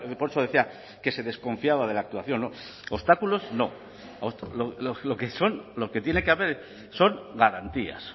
por eso decía que se desconfiaba de la actuación obstáculos no lo que son lo que tiene que haber son garantías